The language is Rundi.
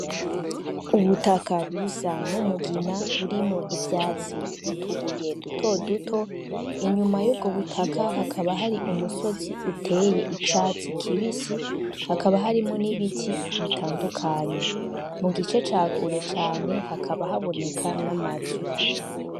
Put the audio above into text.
Ubutaka busa numugina burimwo ivyatsi nutubuye dutoduto, inyuma yubwo butaka hakaba hari umusozi uteye icatsi kibisi hakaba harimwo nibiti bitadukanye mugice ca Kure hakaba haboneka namazu.